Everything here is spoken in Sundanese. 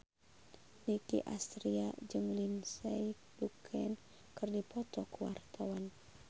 Nicky Astria jeung Lindsay Ducan keur dipoto ku wartawan